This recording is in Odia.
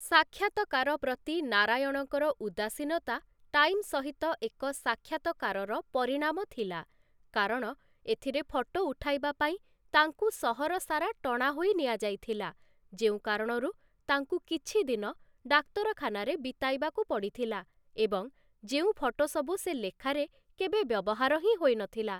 ସାକ୍ଷାତକାର ପ୍ରତି ନାରାୟଣଙ୍କର ଉଦାସୀନତା ଟାଇମ୍‌ ସହିତ ଏକ ସାକ୍ଷାତକାରର ପରିଣାମ ଥିଲା, କାରଣ ଏଥିରେ ଫଟୋ ଉଠାଇବା ପାଇଁ ତାଙ୍କୁ ସହର ସାରା ଟଣା ହୋଇ ନିଆଯାଇଥିଲା, ଯେଉଁ କାରଣରୁ ତାଙ୍କୁ କିଛି ଦିନ ଡାକ୍ତରଖାନାରେ ବିତାଇବାକୁ ପଡ଼ିଥିଲା ଏବଂ ଯେଉଁ ଫଟୋସବୁ ସେ ଲେଖାରେ କେବେ ବ୍ୟବହାର ହିଁ ହୋଇନଥିଲା ।